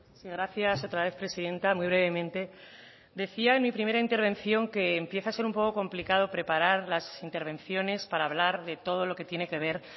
sí gracias otra vez presidenta muy brevemente decía en mi primera intervención que empieza a ser un poco complicado preparar las intervenciones para hablar de todo lo que tiene que ver